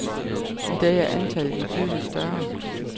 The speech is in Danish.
I dag er antallet betydelig større.